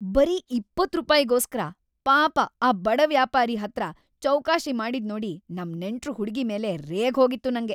ಬರೀ ೨೦ ರೂಪಾಯ್ಗೋಸ್ಕರ ಪಾಪ ಆ ಬಡ ವ್ಯಾಪಾರಿ ಹತ್ರ ಚೌಕಾಶಿ ಮಾಡಿದ್ನೋಡಿ ನಮ್‌ ನೆಂಟ್ರು ಹುಡ್ಗಿ ಮೇಲೆ ರೇಗ್ ಹೋಗಿತ್ತು‌ ನಂಗೆ.